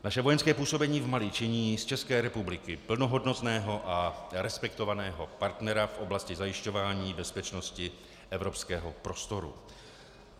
Naše vojenské působení v Mali činí z České republiky plnohodnotného a respektovaného partnera v oblasti zajišťování bezpečnosti evropského prostoru.